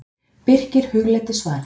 Birkir hugleiddi svarið.